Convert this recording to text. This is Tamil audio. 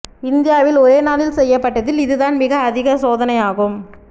இந்தியாவில் ஒரே நாளில் செய்யப்பட்டதில் இதுதான் மிக அதிக சோதனை ஆகும்